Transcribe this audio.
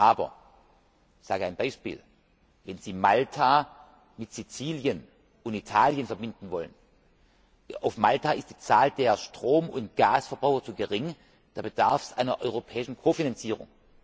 Aber wenn Sie beispielsweise Malta mit Sizilien und Italien verbinden wollen auf Malta ist die Zahl der Strom und Gasverbraucher zu gering da bedarf es einer europäischen Kofinanzierung.